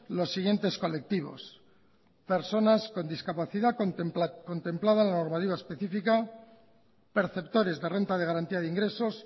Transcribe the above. los siguientes colectivos personas con discapacidad contemplado en la normativa específica perceptores de renta de garantía de ingresos